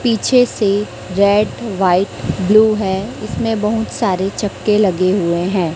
पीछे से red white blue हैं इसमें बहुत सारे चक्के लगे हुए है।